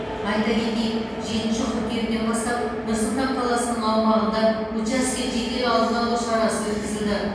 айта кетейік жетінші қыркүйектен бастап нұр сұлтан қаласының аумағында учаске жедел алдын алу шарасы өткізілді